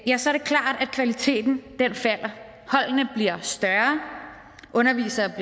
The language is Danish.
kvaliteten falder holdene bliver større undervisere